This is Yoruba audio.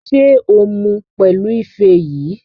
Ṣé o mu pẹ̀lú ife yìí?